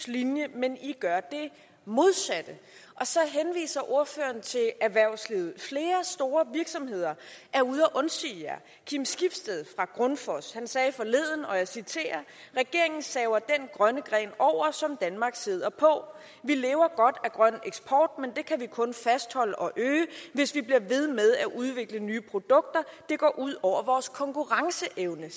linje men i gør det modsatte og så henviser ordføreren til erhvervslivet flere store virksomheder er ude at undsige jer kim skibsted fra grundfos sagde forleden og jeg citerer regeringen saver den grønne gren over som danmark sidder på vi lever godt af grøn eksport men det kan vi kun fastholde og øge hvis vi kan blive ved med at udvikle nye produkter det går ud over vores konkurrenceevne